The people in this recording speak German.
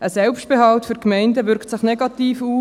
Ein Selbstbehalt für die Gemeinden wirkt sich negativ aus.